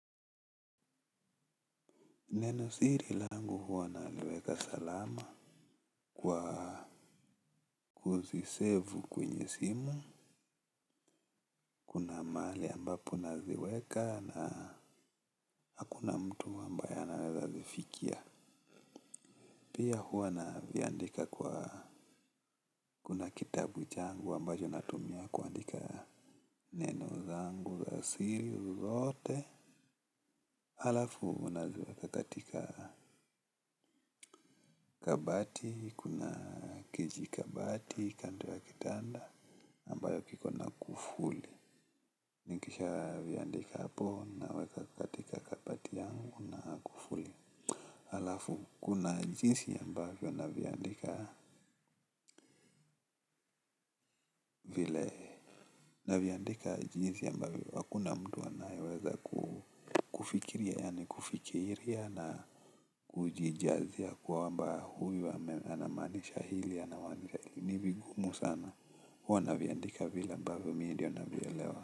Neno siri langu huwa naliweka salama kwa kuzisevu kwenye simu. Kuna mahali ambapo naziweka na hakuna mtu ambaye anaweza zifikia. Pia huwa naviandika kwa kuna kitabu changu ambacho natumia kuandika. Neno zangu za siri zote. Halafu naziweka katika kabati, kuna kiji kabati, kando ya kitanda. Ambayo kiko na kufuli nikisha viandika hapo naweza katika kabati yangu na kufuli, halafu kuna jinsi ambavyo navyoandika na viandika jinsi ambavyo hakuna mtu anayeweza kufiria na kujijazia kwamba huyu anamaanisha hili anamaanisha ni vigumu sana huwa na viandika vile ambavyo mimi ndio navielewa.